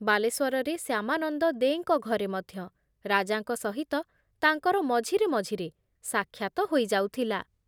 ବାଲେଶ୍ଵରରେ ଶ୍ୟାମାନନ୍ଦ ଦେଙ୍କ ଘରେ ମଧ୍ୟ ରାଜାଙ୍କ ସହିତ ତାଙ୍କର ମଝିରେ ମଝିରେ ସାକ୍ଷାତ ହୋଇଯାଉଥିଲା ।